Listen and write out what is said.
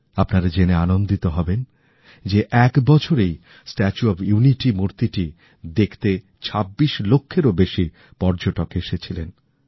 আপনাদের জেনে আনন্দিত হবেন যে এক বছরেই স্ট্যাচু অফ ইউনিটি মূর্তিটি দেখতে ২৬ লক্ষ পর্যটক এসেছিলেন